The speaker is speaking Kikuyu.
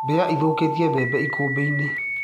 Mbĩa cithũkĩtie bembe ikũmbĩinĩ.